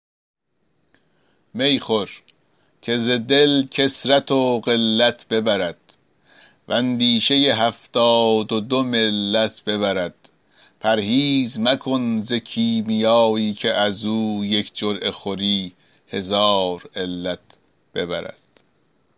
می خور که ز دل کثرت و قلت ببرد و اندیشه هفتاد و دو ملت ببرد پرهیز مکن ز کیمیایی که از او یک جرعه خوری هزار علت ببرد